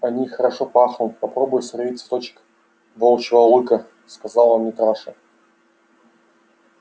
они хорошо пахнут попробуй сорви цветочек волчьего лыка сказал митраша